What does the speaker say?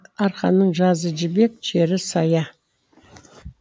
арқаның жазы жібек жері сая